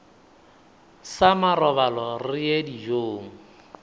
sa marobalo re ye dijong